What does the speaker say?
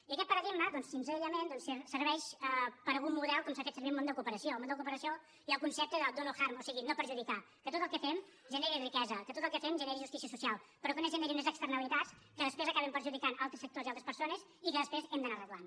i aquest paradigma doncs senzillament serveix per algun model com s’ha fet servir al món de la cooperació al món de la cooperació hi ha un concepte de do not harm o sigui no perjudicar que tot el que fem generi riquesa que tot el que fem generi justícia social però que no generi unes externalitats que després acabin perjudicant altres sectors i altres persones i que després hem d’anar arreglant